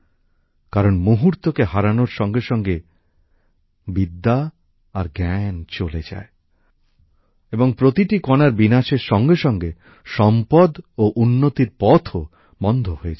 কারণ মুহূর্তকে হারানোর সঙ্গে সঙ্গে বিদ্যা আর জ্ঞান চলে যায় এবং প্রতিটি কণার বিনাশের সঙ্গে সঙ্গে সম্পদ ও উন্নতির পথও বন্ধ হয়ে যায়